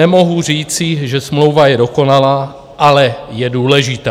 Nemohu říci, že smlouva je dokonalá, ale je důležitá.